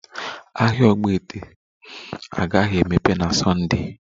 Ahịa ogbete agaghị emeghe na Sunda